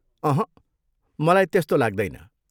अहँ, मलाई त्यस्तो लाग्दैन।